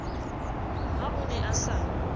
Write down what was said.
ha o ne a sa